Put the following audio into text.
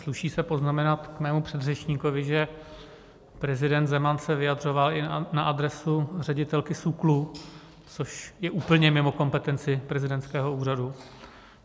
Sluší se poznamenat k mému předřečníkovi, že prezident Zeman se vyjadřoval i na adresu ředitelky SÚKLu, což je úplně mimo kompetenci prezidentského úřadu.